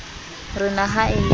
re na ha e le